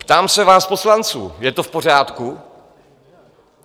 Ptám se vás, poslanců, je to v pořádku?